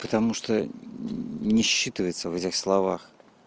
потому что не считывается в этих словах